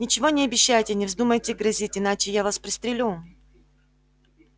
ничего не обещайте и не вздумайте грозить иначе я вас пристрелю